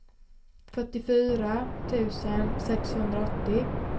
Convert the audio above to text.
fyrtiofyra tusen sexhundraåttio